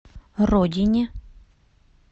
родине